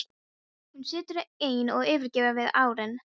Hún situr ein og yfirgefin við arininn.